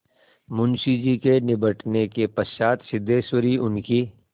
मुंशी जी के निबटने के पश्चात सिद्धेश्वरी उनकी